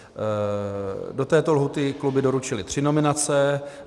Do této lhůty kluby doručily tři nominace.